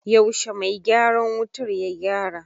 Yaushe mai gyaran wutar ya gyara?